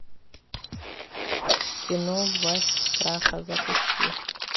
кино власть страха запусти